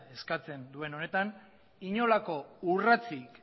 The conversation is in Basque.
eskatzen duen honetan inolako urratsik